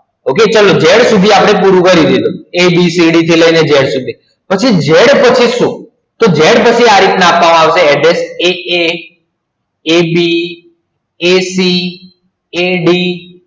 okay z સુધી આપડે પૂરું કરિયું a b c d થી લય ને z સુધી પછી z પછી સુ તો z પછી આ રીતના આપવા માં અવસે એએ ab ac ad